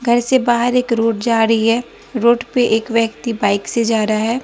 घर से बाहर एक रोड जा रही है रोड पे एक व्यक्ति बाइक से जा रहा है।